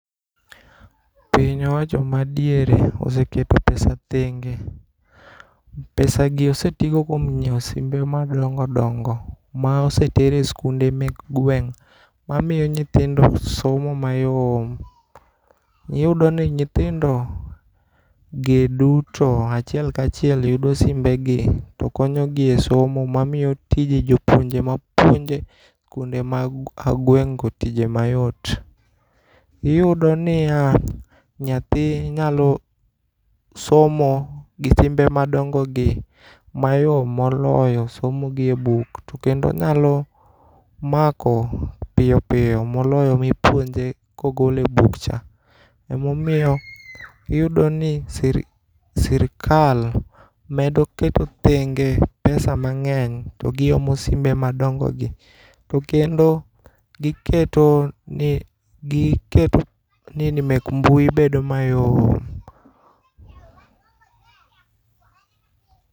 Piny owacho madiere oseketo pesa thenge', pesagi osetigo kuom nyiew simbe madongo' dongo', ma osetere e skunde mek gweng' mamiyo nyithindo somo mayom, iyudoni nyithindogi duto achiel ka chielk yudo simbegi to konyogie e somo mamiyo tije jopuonje mapuonje skunde ma agweng'go tije mayot, iyudoniya nyathi nyalo somo gi simbe madonjogie mayom moloyo somo gie buk to kendo onyalo mako piyo piyo moloyo mipuonje kogolo e buk cha emomiyo iyudoni sirikal bedo keto thenge' pesa mange'ny to giomo simbe madongo'gi to kendo giketo ni mek mbui bedo mayom.